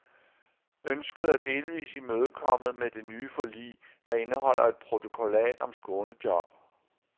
Ønsket er delvis imødekommet med det nye forlig, der indeholder et protokollat om skånejob.